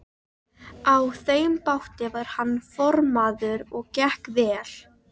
Á þeim báti var hann formaður og gekk vel.